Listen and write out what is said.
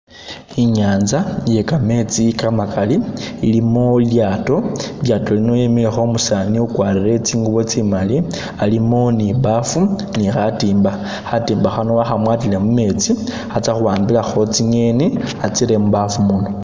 I'nyanza iye kametsi kamakali ilimo i'lyaato, i'lyaato liino lyemilekho umusani u'kwarire tsingubo tsimali alimo ni baafu ni khatimba, khatimba khano wakhamwatile mumetsi khatsa'khuwambilakho tsi'ngeni a'tsiré mubaafu muno